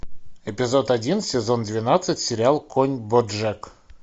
эпизод один сезон двенадцать сериал конь боджек